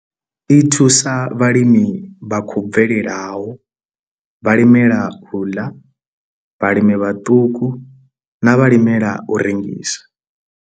I thusa vhalimi vha khou bvelelaho, vhalimela u ḽa, vhalimi vhaṱuku na vhalimela u rengisa.